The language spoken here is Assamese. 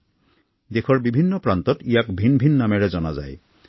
ইয়াকো দেশৰ বিভিন্ন প্ৰান্ত ভিন ভিন নামেৰে জনা যায়